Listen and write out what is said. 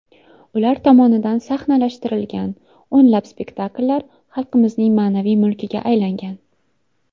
Ular tomonidan sahnalashtirilgan o‘nlab spektakllar xalqimizning ma’naviy mulkiga aylangan.